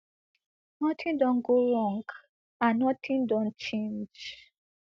nothing don go wrong and nothing don change